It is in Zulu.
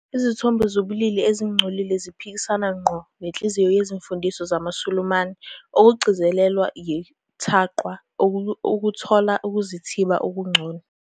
Izithombe zobulili ezingcolile ziphikisana ngqo nenhliziyo yezimfundiso zamaSulumane, okugcizelelwa yiTaqwa ukuthola ukuzithiba okungcono.